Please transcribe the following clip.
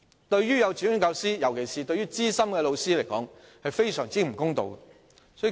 對於幼稚園教師，尤其是資深教師來說，是非常不公道的。